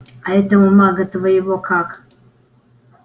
а этого мага твоего как